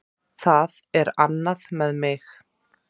Það er annað með mig.